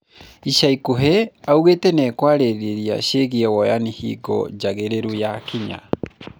Ica ikuhĩ augite nĩekwaria ciĩgiĩ woyani hingo njagĩrĩru yakinya